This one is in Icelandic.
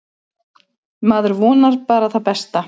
Maður vonar bara það besta.